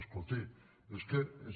escolti és que és